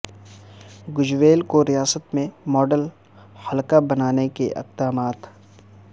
گجویل کو ریاست میں ماڈل حلقہ بنانے کے اقدامات